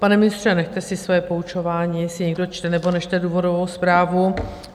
Pane ministře, nechte si své poučování, jestli někdo čte, nebo nečte důvodovou zprávu.